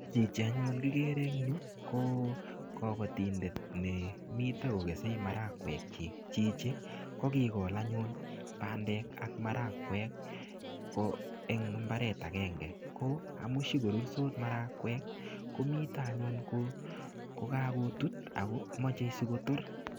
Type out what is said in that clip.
Chichi anyun kigere eng yu ko kapatindet nemita kogesei marakwekchi. Chichi ko, kigol anyun bandel ak marakwek ko, eng imbaret agenge. Ko amushigorutos marakwek ko mito anyun ko, kogagotut machei sigoror.